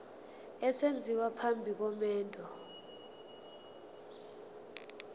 esenziwa phambi komendo